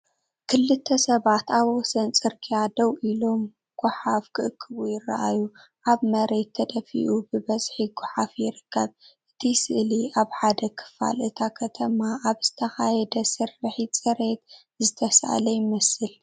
ክልተ ሰባት ኣብ ወሰን ጽርግያ ደው ኢሎም ጎሓፍ ክእክቡ ይረኣዩ። ኣብ መሬት ተደፊኡ ብብዝሒ ጎሓፍ ይርከብ። እቲ ስእሊ ኣብ ሓደ ክፋል እታ ከተማ ኣብ ዝተኻየደ ስርሒት ጽሬት ዝተሳእለ ይመስል።